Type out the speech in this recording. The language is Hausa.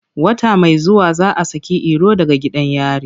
Wata mai zuwa za a saki Iro daga gidan yari.